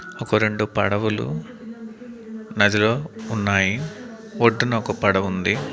ఒక రెండు పడవలు నదిలో ఉన్నాయి ఒడ్డున ఒక పడవ ఉంది.